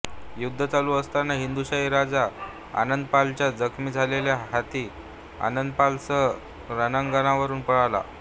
युद्ध चालू असताना हिंदुशाही राजा आनंदपालचा जखमी झालेला हत्ती आनंदपालसह रणांगणावरुन पळाला